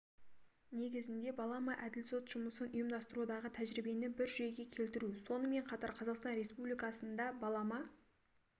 негізінде балама әділ сот жұмысын ұйымдастырудағы тәжірибені бір жүйеге келтіру сонымен қатар қазақстан республикасында балама